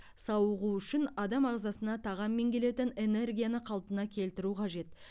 сауығу үшін адам ағзасына тағаммен келетін энергияны қалпына келтіру қажет